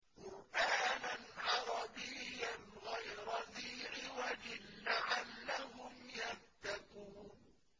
قُرْآنًا عَرَبِيًّا غَيْرَ ذِي عِوَجٍ لَّعَلَّهُمْ يَتَّقُونَ